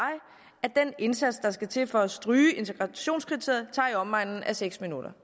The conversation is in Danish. at den indsats der skal til for at stryge integrationskriteriet tager i omegnen af seks minutter